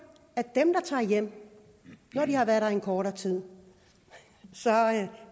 at dem der tager hjem når de har været der i kortere tid